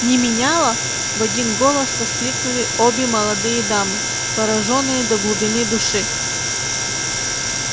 не меняла в один голос воскликнули обе молодые дамы поражённые до глубины души